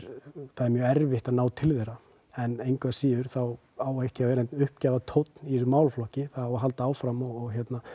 það er mjög erfitt að ná til þeirra en engu að síður á ekki að vera neinn uppgjafartónn í þessum málaflokki það á að halda áfram og